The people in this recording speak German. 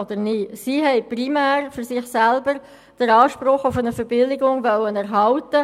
Sie wollten primär für sich selber den Anspruch auf eine Verbilligung erhalten.